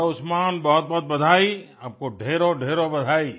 hello Usman बहुतबहुत बधाई आपको ढेरोंढेरों बधाई